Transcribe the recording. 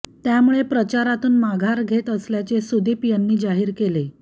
त्यामुळे प्रचारातून माघार घेत असल्याचे सुदीप यांनी जाहीर केले